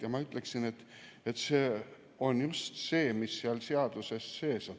Ja ma ütleksin, et see on just see, mis on seal seaduses sees.